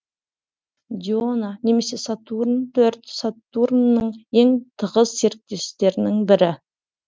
диона немесе сатурн төрт сатурнның ең тығыз серіктерінің бірі